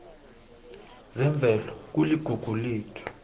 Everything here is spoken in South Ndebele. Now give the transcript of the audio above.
zemvelo kuligugu lethu